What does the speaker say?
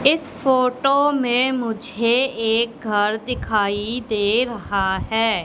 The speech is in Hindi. इस फोटो में मुझे एक घर दिखाई दे रहा है।